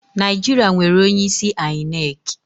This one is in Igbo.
Naijiṛa nwere onye isi ainek